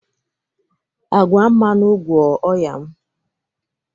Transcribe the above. Agwa mmanụ, gwọọ ọnya m.